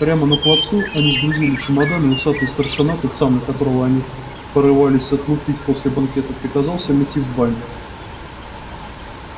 прямо на плацу они сгрузили чемоданы и усатый старшина тот самый которого они порывались отлупить после банкета приказал всем идти в баню